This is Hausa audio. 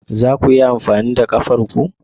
Za ku iya amfani da kafar ku?